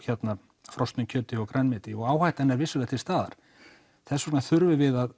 frosnu kjöti og grænmeti og áhættan er vissulega til staðar og þess vegna þurfum við að